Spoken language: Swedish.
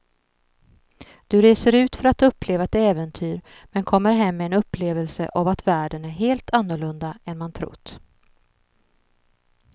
Du reser ut för att uppleva ett äventyr men kommer hem med en upplevelse av att världen är helt annorlunda än man trott.